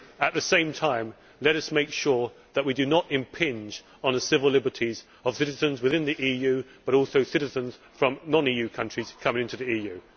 At the same time, let us make sure that we do not impinge on the civil liberties of citizens within the EU, but also citizens from non EU countries coming into the EU.